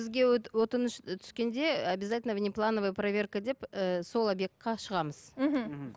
бізге өтініш түскенде обязательно внеплановая проверка деп ііі сол обьектке шығамыз мхм